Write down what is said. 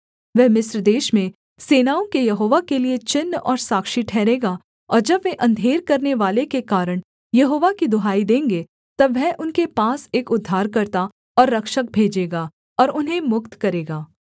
वह मिस्र देश में सेनाओं के यहोवा के लिये चिन्ह और साक्षी ठहरेगा और जब वे अंधेर करनेवाले के कारण यहोवा की दुहाई देंगे तब वह उनके पास एक उद्धारकर्ता और रक्षक भेजेगा और उन्हें मुक्त करेगा